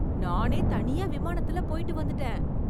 நானே தனியா விமானத்துல போயிட்டு வந்துட்டேன் !